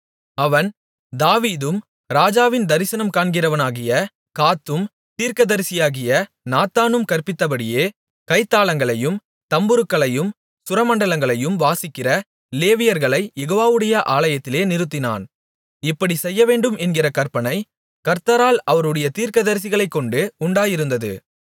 அவன் தாவீதும் ராஜாவின் தரிசனம் காண்கிறவனாகிய காத்தும் தீர்க்கதரிசியாகிய நாத்தானும் கற்பித்தபடியே கைத்தாளங்களையும் தம்புருக்களையும் சுரமண்டலங்களையும் வாசிக்கிற லேவியர்களைக் யெகோவாவுடைய ஆலயத்திலே நிறுத்தினான் இப்படி செய்யவேண்டும் என்கிற கற்பனை கர்த்தரால் அவருடைய தீர்க்கதரிசிகளைக்கொண்டு உண்டாயிருந்தது